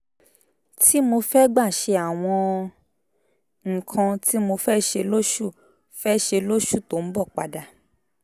tí mo fẹ́ gbà ṣe àwọn nǹkan tí mo fẹ́ ṣe lóṣù fẹ́ ṣe lóṣù tó ń bọ̀ padà